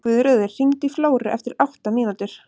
Guðröður, hringdu í Flóru eftir átta mínútur.